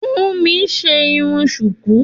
Funmi ṣe irun sùkú.